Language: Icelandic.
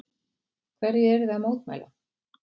Hverju eruð þið að mótmæla?